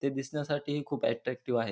ते दिसण्यासाठी खूप अट्रॅक्टिव्ह आहेत.